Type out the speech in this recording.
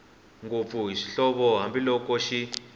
ngopfu hi swihoxo hambiloko xi